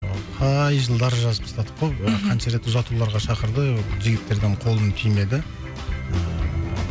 қай жылдар жазып тастадық қой қанша рет ұзатуларға шақырды ыыы жігіттерден қолым тимеді